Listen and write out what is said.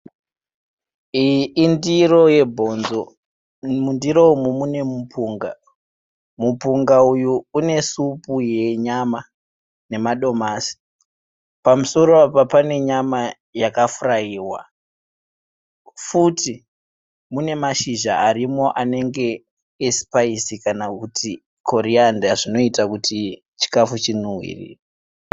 Iyi indiro yebhonzo. Umu mundiro umu mune mupunga. Mupunga uyu une supu yenyama nemadomasi. Pamusoro Apa pane nyama yakafuraiwa futi mune mashizha arimo anenge esipaisi kana kuti koriyanda zvinoita kuti chikafu chinhuhwirire.